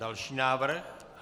Další návrh.